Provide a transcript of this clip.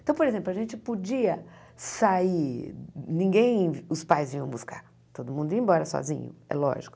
Então, por exemplo, a gente podia sair, ninguém os pais vinham buscar, todo mundo ia embora sozinho, é lógico.